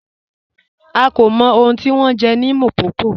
À kò mọ̀ ọ̀hun tí wọn jẹ̀ ni Mpopo